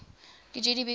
gdp growth averaged